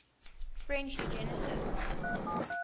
french eugenicists